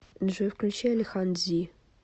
джой включи алихан дзи